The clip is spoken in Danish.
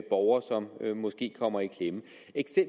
borgere som kommer i klemme